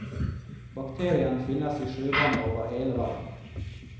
Bakterien finnes i sjøvannet over hele verden.